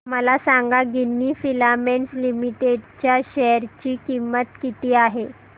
मला सांगा Ginni filaments limited च्या शेअर ची किंमत किती आहे